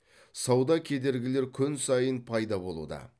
сауда кедергілері күн сайын пайда болуда